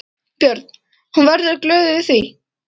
Björn: Hún verður glöð yfir því?